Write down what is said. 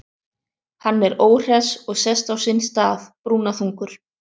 Hann er óhress og sest á sinn stað, brúnaþungur.